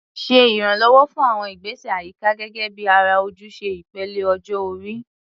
Ṣe ìrànwọ́ fún àwọn ìgbésẹ̀ àyíká gẹ́gẹ́ bí ara ojúṣe ìpele ọjọ́ orí.